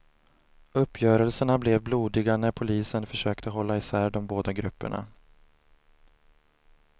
Uppgörelserna blev blodiga när polisen försökte hålla isär de båda grupperna.